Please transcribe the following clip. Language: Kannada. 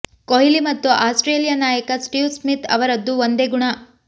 ಕೊಹ್ಲಿ ಮತ್ತು ಆಸ್ಟ್ರೇಲಿಯ ನಾಯಕ ಸ್ಟೀವ್ ಸ್ಮಿತ್ ಅವರದ್ದು ಒಂದೇ ಗುಣ